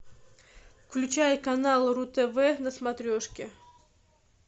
включай канал ру тв на смотрешке